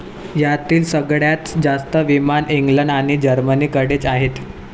यातील सगळ्यात जास्त विमान इंग्लंड आणि जर्मनीकडेच आहेत.